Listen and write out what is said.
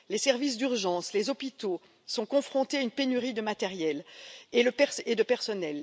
Les services d'urgence, les hôpitaux sont confrontés à une pénurie de matériel et de personnel.